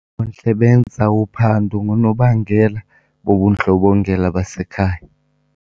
benza uphando ngoonobangela bobundlobongela basekhaya.